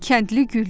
Kəndli güldü.